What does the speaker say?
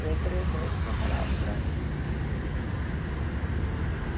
Durante três noites eu falava Brasil.